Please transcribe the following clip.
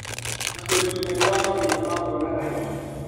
Na ũrigitani wa mathĩna ma kuona kahinda